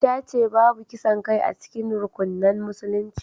Ta ce babu kisan kai a cikin rukunan musulunci